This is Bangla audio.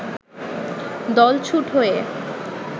দলছুট হয়ে